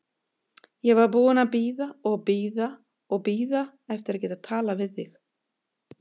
Ég var búin að bíða og bíða og bíða eftir að geta talað við þig.